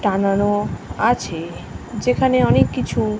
টানানো আছে। যেখানে অনেক কিছু--